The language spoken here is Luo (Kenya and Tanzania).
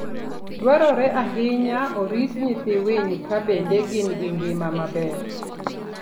Dwarore ahinya oriti nyithi winy ka bende gin ngima maber.